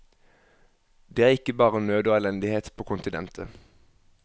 Det er ikke bare nød og elendighet på kontinentet.